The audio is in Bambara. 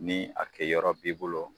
Ni a kɛ yɔrɔ b'i bolo